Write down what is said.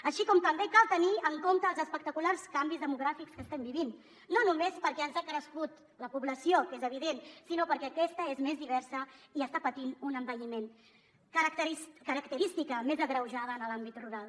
així com també cal tenir en compte els espectaculars canvis demogràfics que estem vivint no només perquè ens ha crescut la població que és evident sinó perquè aquesta és més diversa i està patint un envelliment característica a més agreujada en l’àmbit rural